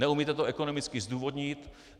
Neumíte to ekonomicky zdůvodnit.